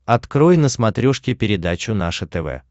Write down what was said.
открой на смотрешке передачу наше тв